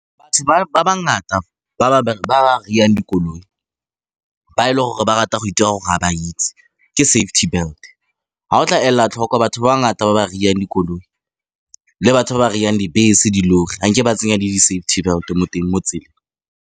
Batho ba ngata ba ry-ang dikoloi ba e le gore ba rata go itira ga ba itse ke safety belt. Ha o tla ela tlhoko batho ba bangata ba ba ry-ang dikoloi, le batho ba ba ry-ang dibese, di-lorry, ga nke ba tsenya le di-safety belt mo teng mo .